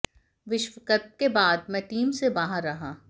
विश्व कप के बाद मैं टीम से बाहर रहा